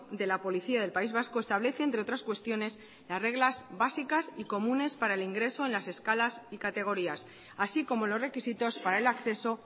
de la policía del país vasco establece entre otras cuestiones las reglas básicas y comunes para el ingreso en las escalas y categorías así como los requisitos para el acceso